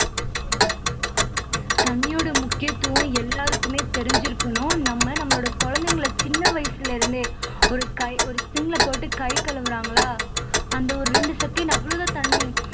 தண்ணியோட முக்கியத்துவம் எல்லாருக்குமே தெரிஞ்சிருக்கணும் நாம் நம்மளோட குழந்தைகளை சின்ன வயசுல இருந்தே ஒரு கை ஒரு sink ல போட்டு கை கழுவுறாங்களா அந்த ஒரு ரெண்டு second அவ்வளவுதான் தண்ணி